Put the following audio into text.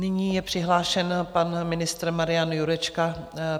Nyní je přihlášen pan ministr Marian Jurečka.